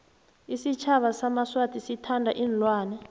isitjhaba samaswati sithanda iinlwana